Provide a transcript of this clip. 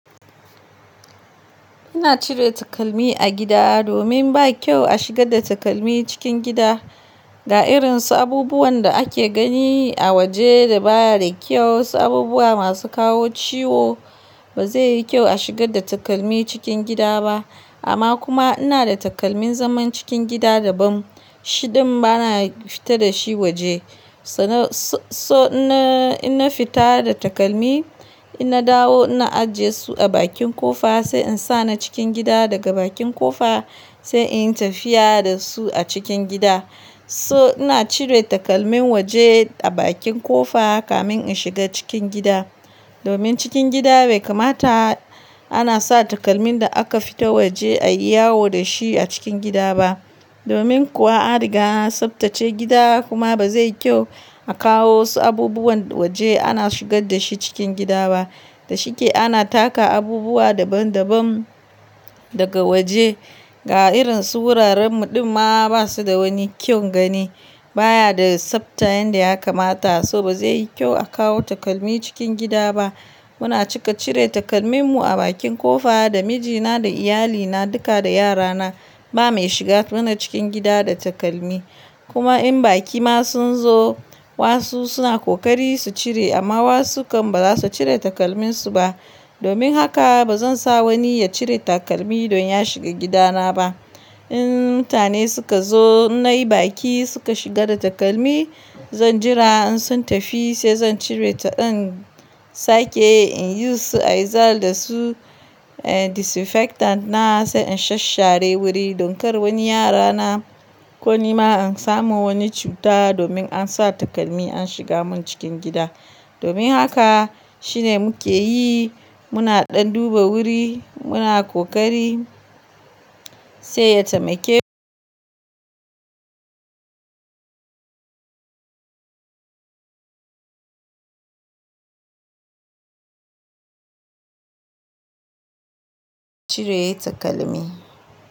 Ina cire takalmi a gida domin ba kyau a shiga da takalmi cikin gida. Ga irin su abubuwan da ake gani a waje da baya da kyau, su abubuwa masu kawo ciwo. Ba zai yi kyau a shigar da takalmi cikin gida ba. Amma kuma inada takalmin zaman cikin gida daban, shi din bana fita da shi waje. So-- so ina, ina fita da takalmi, ina dawo ina ajiye su a bakin kofa sai in sa na cikin gida daga bakin kofa. Sai in yi tafiya da su a cikin gida. So ina cire takalmin waje a bakin kofa kamin in shiga cikin gida. Domin cikin gida bai kamata anasa takalmin da aka fita waje a yi yawo dashi a cikin gida ba. Domin kuwa an riga an tsabtace gida kuma ba zai kyau a kawo wasu abubuwan waje ana shigar da shi cikin gida ba. Da shike ana taka abubuwa daban daban daga waje. Ga irin su wuraren mu dinma basu da wani kyau gani. Ba ya da tsafta yanda kamata, so ba zai yi kyau a kawo takalmi cikin gida ba. Muna cika cire takalmin mu a bakin kofa da mijina da iyalina duka da yarana. Ba mai shiga mana cikin gida da takalmi. Kuma in baki ma sun zo, wasu suna kokari su cire amma wasu kam baza su cire takalminsu ba. Domin haka ba zansa wani ya cire takalmi don ya shiga gidana ba. In mutane suka zo, nai baki suka shiga da takalmi, zan jira insun tafi sai zancire ta in sake in yi su aizal da su, eh disinfectant na sai in sasshare wuri don kar wani yarana. Ko ni ma in samu wani cuta domin an sa takalmi an shiga mun cikin gida. Domin haka shine muke yi, muna ɗan duba wuri, muna kokari sai ya taimake. Cire takalmi.